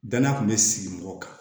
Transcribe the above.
Danaya kun be sigi mɔgɔ kan